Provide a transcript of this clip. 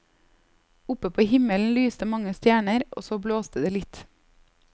Oppe på himmelen lyste mange stjerner, og så blåste det litt.